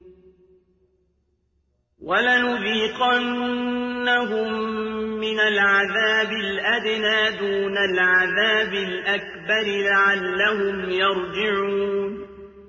وَلَنُذِيقَنَّهُم مِّنَ الْعَذَابِ الْأَدْنَىٰ دُونَ الْعَذَابِ الْأَكْبَرِ لَعَلَّهُمْ يَرْجِعُونَ